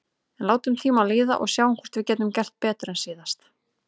En látum tímann líða og sjáum hvort við getum gert betur en síðast.